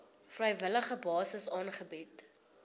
vrywillige basis aangebied